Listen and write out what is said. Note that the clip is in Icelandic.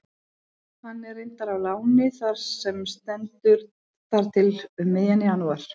Hann er reyndar á láni þar sem stendur þar til um miðjan janúar.